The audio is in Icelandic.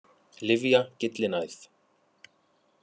Lyfja- Gyllinæð.